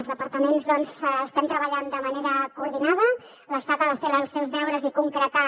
els departaments doncs estem treballant de manera coordinada l’estat ha de fer els seus deures i concretar